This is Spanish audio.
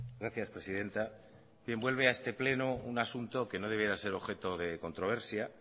gracias presidenta bien vuelve a este pleno un asunto que no debiera ser objeto de controversia